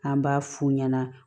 An b'a f'u ɲɛna